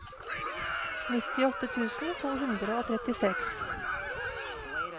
nittiåtte tusen to hundre og trettiseks